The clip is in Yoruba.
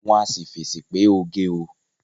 Wọ́n á sì fèsì pé oge o